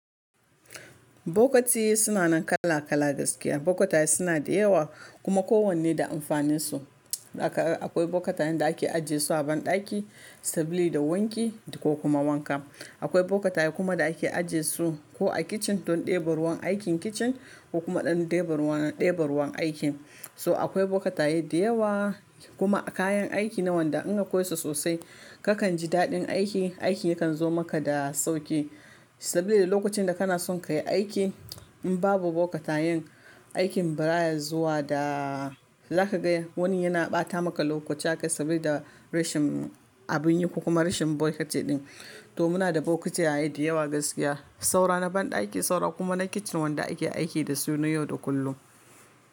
Bokati suna nan kala kala gaskiya. Bokata suna da yawa kuma kowanne da amfanin su. Akwai bokatayen da ake ajiye su a ban ɗaki sabili da wanki da ko kuma wanka. Akwai bokataye kuma da ake ajiye su ko a kitchen don ɗebe ruwan aikin kitchen ko kuma ɗan ɗebe ruwan deba ruwan aikin. Toh akwai bokataye da yawa, kuma a kayan aiki na wanda in akwai su sosai kakan ji daɗin aiki, aikin yakan zo maka da sauƙi. Sabili lokacin da kana son ka yi aiki in babu bokatayen aikin baya zuwa da zaka ga wani yana ɓata maka lokaci a kan sabili da rashin abun yi ko kuma rashin bokati din. Toh muna da bokataye da yawa gaskiya, saura na ban ɗaki saura kuma na kitchen wanda ake aiki da su na yau da kullum.